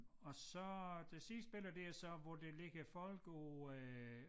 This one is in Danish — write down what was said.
Og så det sidste billede det er så hvor der ligger folk på øh